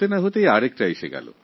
একটা যেতে না যেতে আরেকটা চলে আসে